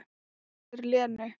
En það hressir Lenu.